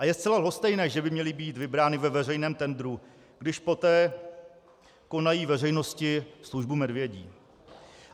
A je zcela lhostejné, že by měly být vybrány ve veřejném tendru, když poté konají veřejnosti službu medvědí.